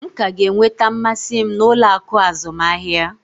M ka ga-enweta mmasị m n'ụlọ akụ azụmahịa.